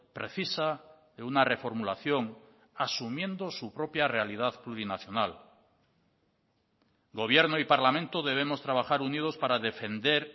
precisa de una reformulación asumiendo su propia realidad plurinacional gobierno y parlamento debemos trabajar unidos para defender